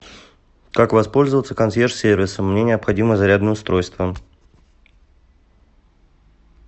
как воспользоваться консьерж сервисом мне необходимо зарядное устройство